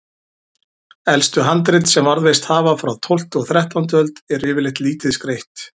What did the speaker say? Elstu handrit sem varðveist hafa, frá tólftu og þrettándu öld, eru yfirleitt lítið skreytt.